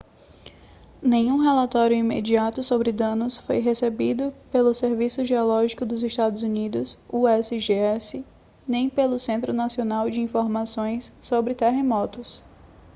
nenhum relatório imediato sobre danos foi recebido pelo serviço geológico dos estados unidos usgs nem pelo centro nacional de informações sobre terremotos